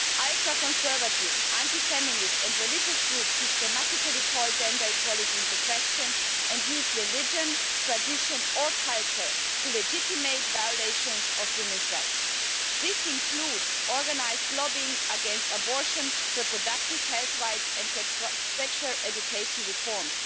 Ultra conservative, anti feminist and religious groups systematically call gender equality into question and use religion, tradition or culture to legitimise violations of women's rights. This includes organised lobbying against abortion, reproductive health rights and sexual education reforms.